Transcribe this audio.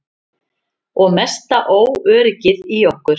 Og mesta óöryggið í okkur.